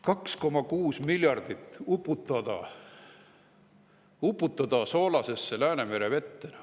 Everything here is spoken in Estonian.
2,6 miljardit uputada soolasesse Läänemere vette.